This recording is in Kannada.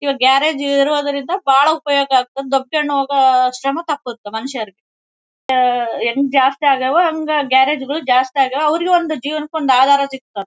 ಇವಾಗ್ ಗ್ಯಾರೇಜ್ ಇರೋದರಿಂದ ಬಹಳ ಉಪಯೋಗ ಆಗ್ತಿದ್ದೆ. ದಬ್ಬ ಕೊಂಡು ಹೋಗು ಶ್ರಮ ತಪ್ಪುತ್ತೆ ಮನುಷ್ಯರಿಗೆ ಆಹ್ಹ್ಹ್ ಹೆಂಗ್ ಜಾಸ್ತಿ ಆಗವೊ ಹಾಂಗ ಗ್ಯಾರೇಜ್ ಗಳು ಜಾಸ್ತಿ ಆಗ್ಯಾವ. ಅವರಿಗೂ ಒಂದು ಜೀವನಕ್ಕೆ ಒಂದು ಆಧಾರ ಸಿಗ್ತತ್ತೆ.